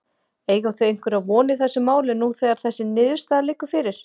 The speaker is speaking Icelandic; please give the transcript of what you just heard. Eiga þau einhverja von í þessu máli nú þegar þessi niðurstaða liggur fyrir?